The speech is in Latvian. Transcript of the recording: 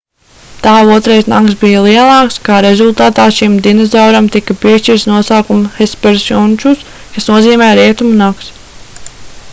tā otrais nags bija lielāks kā rezultātā šim dinozauram tika piešķirts nosaukums hesperonychus kas nozīmē rietumu nags